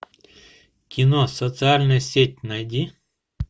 кино социальная сеть найди